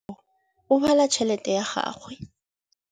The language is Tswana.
ô o bala tšheletê ya gagwe.